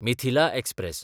Mithila express